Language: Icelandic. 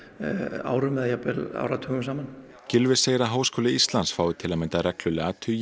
árum eða jafnvel áratugum saman Gylfi segir að Háskóli Íslands fái til að mynda reglulega tugi